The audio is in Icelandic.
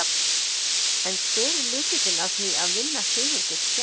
En hver er lykillinn að því að vinna sigur gegn Tékkum?